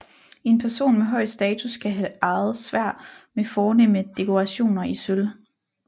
En person med høj status kan have ejet sværd med fornemme dekorationer i sølv